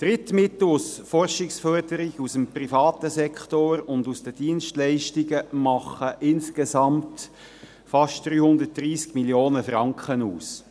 Die Drittmittel aus der Forschungsförderung, dem privaten Sektor und den Dienstleistungen machen insgesamt fast 330 Mio. Franken aus.